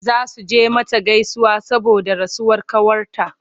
Za su je mata gaisuwa saboda rasuwar ƙawarta.